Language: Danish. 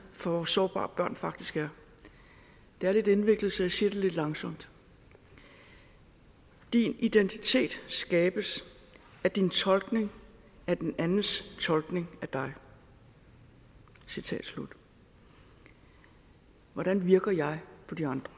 for hvor sårbare børn faktisk er det er lidt indviklet så jeg siger det langsomt din identitet skabes af din tolkning af den andens tolkning af dig citat slut hvordan virker jeg på de andre